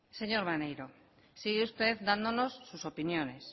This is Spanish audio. señor maneiro sigue usted dándonos sus opiniones